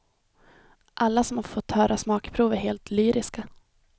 Alla som fått höra smakprov är helt lyriska.